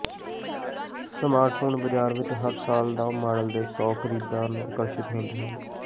smartphone ਬਾਜ਼ਾਰ ਵਿਚ ਹਰ ਸਾਲ ਨਵ ਮਾਡਲ ਦੇ ਸੌ ਖਰੀਦਦਾਰ ਨੂੰ ਆਕਰਸ਼ਿਤ ਹੁੰਦੇ ਹਨ